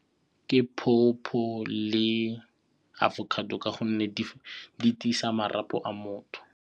Ke pawpaw le avocado ka gonne di tiisa marapo a motho.